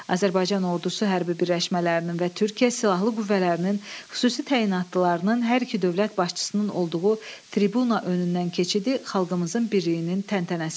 Azərbaycan Ordusu hərbi birləşmələrinin və Türkiyə Silahlı Qüvvələrinin xüsusi təyinatlılarının hər iki dövlət başçısının olduğu tribuna önündən keçidi xalqımızın birliyinin təntənəsi idi.